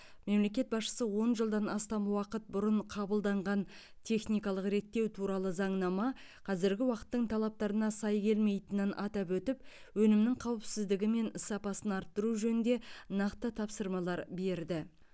мемлекет басшысы он жылдан астам уақыт бұрын қабылданған техникалық реттеу туралы заңнама қазіргі уақыттың талаптарына сай келмейтінін атап өтіп өнімнің қауіпсіздігі мен сапасын арттыру жөнінде нақты тапсырмалар берді